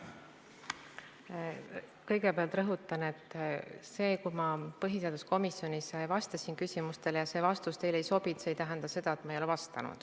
Kõigepealt rõhutan, et see, kui ma põhiseaduskomisjonis vastasin küsimustele ja mõni vastus teile ei sobinud, siis see ei tähenda seda, et ma ei ole vastanud.